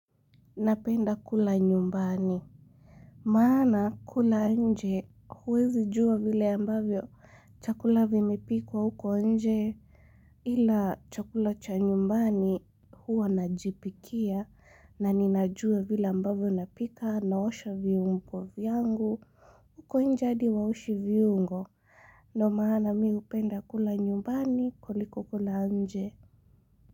Napenda kula nyumbani maana kula nje huwezi juwa vile ambavyo chakula vimepikwa huko nje ila chakula cha nyumbani huwa najipikia na ninajua vile ambavyo napika naosha viombo vyangu huko nje hadi hawaoshi viuongo ndio maana mi hupenda kula nyumbani kuliko kula nje.